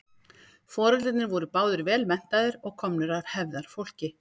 foreldrarnir voru báðir vel menntaðir og komnir af hefðarfólki